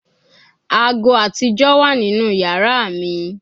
Aago atijọ wa ninu yara mi